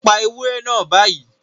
Pa ewúrẹ́ náà báyìí